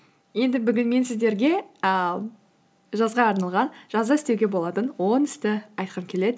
енді бүгін мен сіздерге ііі жазға арналған жазда істеуге болатын он істі айтқым келеді